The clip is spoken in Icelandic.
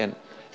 en